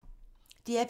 DR P2